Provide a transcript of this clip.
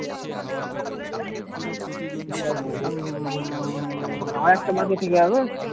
উম উম আরেকটা বাকি থেকে যাবে